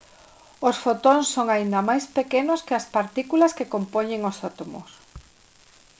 os fotóns son aínda máis pequenos que as partículas que compoñen os átomos